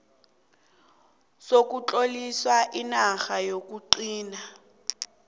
sokutlolisa inarha yokugcina